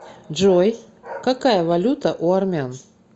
джой какая валюта у армян